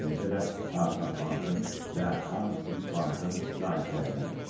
Eləcə də Artsaq Bankın və Arm Swiss Bankın sahiblərindən olub.